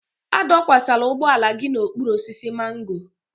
A dọsakwala ụgbọala gị n'okpuru osisi mango.